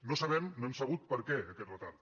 no sabem no hem sabut per què aquest retard